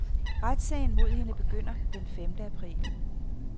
Retssagen mod hende begynder den femte april.